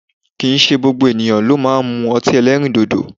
Kìí ṣe gbogbo ènìyàn ló máa ń mú ọtí ẹlẹ́rìndòdò